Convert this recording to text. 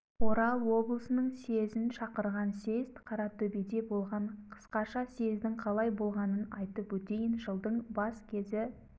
орал облысының съезін шақырған съезд қаратөбеде болған қысқаша съездің қалай болғанын айтып өтейін жылдың бас кезі